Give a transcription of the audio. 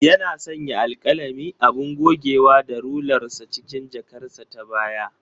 Yana sanya alkalami, abun gogewa da rular sa cikin jakarsa ta baya.